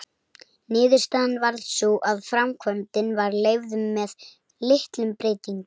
Niðurstaðan varð sú að framkvæmdin var leyfð með litlum breytingum.